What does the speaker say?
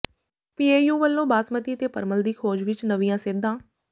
PAU ਵੱਲੋਂ ਬਾਸਮਤੀ ਤੇ ਪਰਮਲ ਦੀ ਖੋਜ ਵਿੱਚ ਨਵੀਆਂ ਸੇਧਾਂ